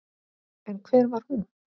En hver var hún?